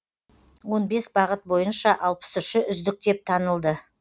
он бес бағыт бойынша алпыс үші үздік деп танылды